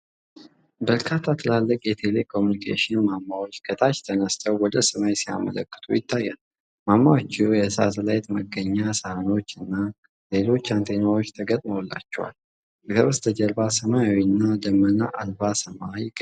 በርካታ ትልልቅ የቴሌኮሙኒኬሽን ማማዎች ከታች ተነስተው ወደ ሰማይ ሲያመለክቱ ይታያሉ። ማማዎቹ የሳተላይት መገናኛ ሰሃኖች እና ሌሎች አንቴናዎች ተገጥመውላቸዋል። ከበስተጀርባ ሰማያዊና ደመና አልባ ሰማይ ይገኛል።